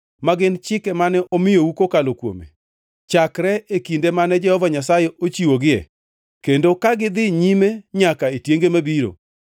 ma gin chike mane omiyou kokalo kuome, chakre e kinde mane Jehova Nyasaye ochiwogie kendo ka gidhi nyime nyaka e tienge mabiro;